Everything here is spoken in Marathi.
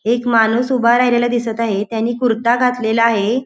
एक माणूस उभा राहिलेला दिसत आहे. त्याने कुर्ता घातलेला आहे.